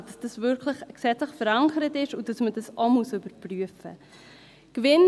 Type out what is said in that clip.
Das heisst, dass es gesetzlich verankert wird und auch überprüft werden muss.